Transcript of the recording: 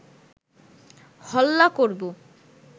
হল্লা করব